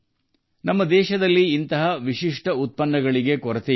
ನಮ್ಮ ದೇಶದಲ್ಲಿ ಇಂತಹ ವಿಶಿಷ್ಟ ಉತ್ಪನ್ನಗಳಿಗೆ ಕೊರತೆಯಿಲ್ಲ